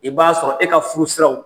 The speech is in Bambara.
I b'a sɔrɔ e ka furu siraw